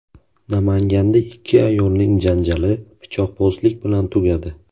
Namanganda ikki ayolning janjali pichoqbozlik bilan tugadi.